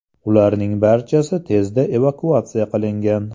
Ularning barchasi tezda evakuatsiya qilingan.